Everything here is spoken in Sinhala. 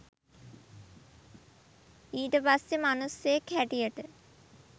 ඊට පස්සේ මනුස්සයෙක් හැටියට